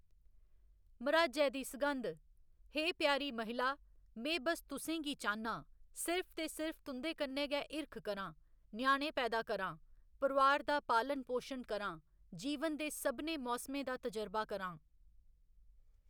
मर्‌हाजै दी सघंद, हे प्यारी महिला, में बस तुसेंगी चाह्‌‌‌न्नां, सिर्फ ते सिर्फ तुं'दे कन्नै गै हिरख करांऽ, ञ्याणें पैदा करांs, परोआर दा पालन पोशन करांऽ, जीवन दे साभनें मौसमें दा तजरबा करांऽ।